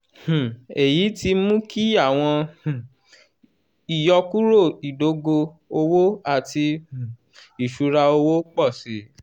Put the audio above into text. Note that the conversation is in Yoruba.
um eyi ti mu ki awọn um iyọkuro idogo owo ati um iṣura owo pọ si.